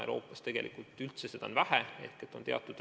Euroopas on seda praegu üldse vähe tehtud.